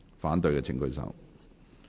反對的請舉手。